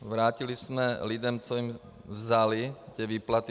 Vrátili jsme lidem, co jim vzali, ty výplaty.